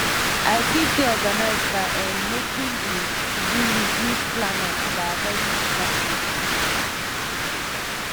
i fit stay organized by um making di todo list use planner and by avoiding distractions